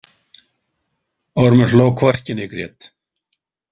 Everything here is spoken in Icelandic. Ormur hló hvorki né grét.